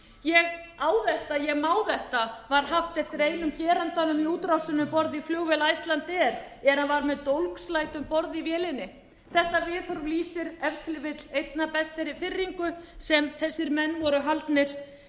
ég á þetta ég má þetta var haft eftir einum gerandanum í útrásinni um borð í flugvél icelandair er hann var með dólgslæti um borð í vélinni þetta viðhorf lýsir sér ef til vill einna best þeirri firringu sem þessir menn voru haldnir